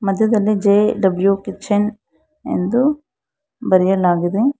ಮಧ್ಯದಲ್ಲಿ JW kitchen ಎಂದು ಬರೆಯಲಾಗಿದೆ.